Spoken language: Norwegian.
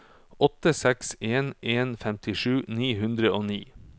åtte seks en en femtisju ni hundre og ni